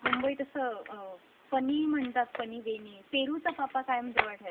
मुंबई तस अ.. फनी म्हणतात फनी फनी वेय नी पेरू चा पापा कायम जवळ ठेवायचा.